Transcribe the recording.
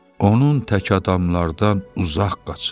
Onun tək adamlardan uzaq qaçın.